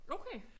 Okay